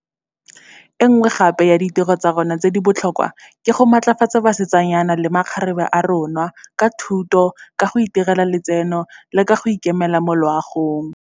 E nngwe ya ditiro tsa rona tse di botlhokwa ke go matlafatsa basetsanyana le makgarebe a rona, ka thuto, ka go itirela letseno le ka go ikemela mo loagong.